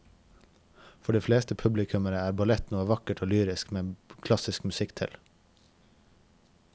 For de fleste publikummere er ballett noe vakkert og lyrisk med klassisk musikk til.